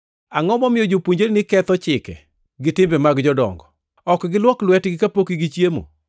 “Angʼo momiyo jopuonjreni ketho chike gi timbe mag jodongo? Ok giluok lwetgi kapok gichiemo!”